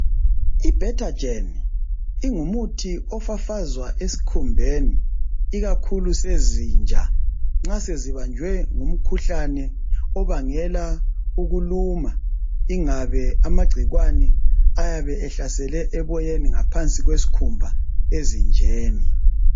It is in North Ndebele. Ibetagen ingumuthi ofafazwa esikhumbeni ikakhulu sezinja nxa sezibanjwe ngumkhuhlane obangela ukuluma ingabe amagcikwane ayabe ehlasele eboyeni ngaphansi kwesikhumba ezinjeni